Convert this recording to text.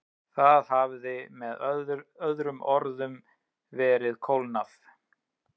Það hafði með öðrum orðum verið klónað.